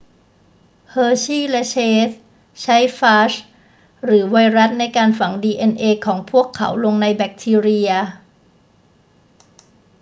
เฮอร์ชีย์และเชสใช้ฟาจหรือไวรัสในการฝังดีเอ็นเอของพวกเขาลงในแบคทีเรีย